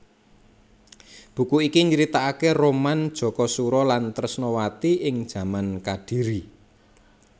Buku iki nyritaaké roman Jakasura lan Tresnawati ing jaman Kadhiri